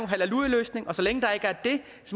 halleluja løsning og så længe der ikke er det